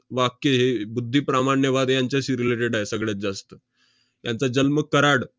वाक्य हे~ बुद्धिप्रामाण्यवाद यांच्याशी related आहे सगळ्यात जास्त. त्यांचा जन्म कराड